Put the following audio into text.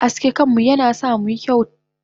Aske kanmu yana sa muyi kyauta.